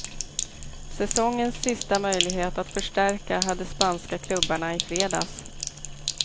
Säsongens sista möjlighet att förstärka hade spanska klubbarna i fredags.